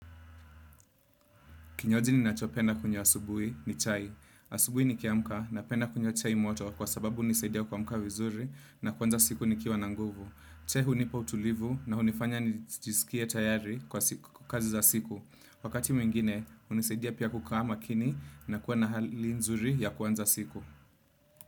Kinywaji ninachopenda kunywa asubuhi ni chai. Asubui nikiamka napenda kunywa chai moto kwa sababu hunisaidia kuamka vizuri na kuanza siku ni kiwa na nguvu. Chai hunipa utulivu na hunifanya njisikie tayari kwa kazi za siku. Wakati mwingine, hunisaidia pia kukaa makini na kuwa na hali nzuri ya kwanza siku.